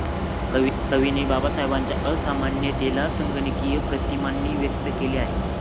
कवीने बाबासाहेबांच्या असामान्यतेला संगणकीय प्रतिमांनी व्यक्त केले आहे.